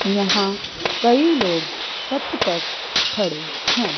यहां कई लोग छत पर खड़े हैं।